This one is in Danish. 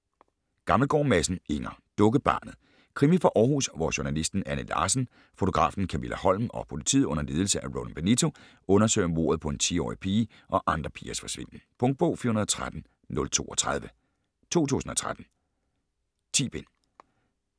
Gammelgaard Madsen, Inger: Dukkebarnet Krimi fra Århus, hvor journalisten Anne Larsen, fotografen Kamilla Holm og politiet under ledelse af Roland Benito undersøger mordet på en 10-årig pige og andre pigers forsvinden. Punktbog 413032 2013. 10 bind.